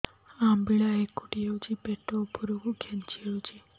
ଅମ୍ବିଳା ହେକୁଟୀ ହେଉଛି ପେଟ ଉପରକୁ ଖେଞ୍ଚି ହଉଚି